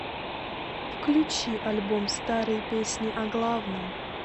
включи альбом старые песни о главном